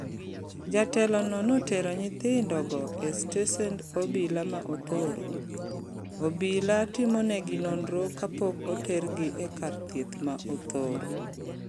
Jatelo no notero nyithindo go e stesend obila ma Othoro. Obila timonegi nonro kapok otergi e kar thieth ma Othoro.